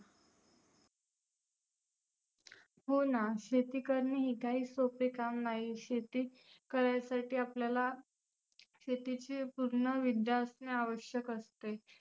हो ना शेती करणे ही काही सोपे काम नाही. शेती करायासाठी आपल्याला शेतीची पुर्ण विद्या असने आवश्यक असते.